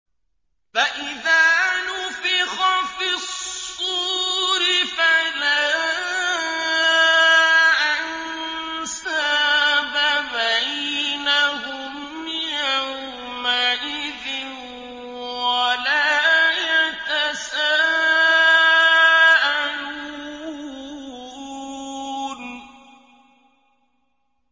فَإِذَا نُفِخَ فِي الصُّورِ فَلَا أَنسَابَ بَيْنَهُمْ يَوْمَئِذٍ وَلَا يَتَسَاءَلُونَ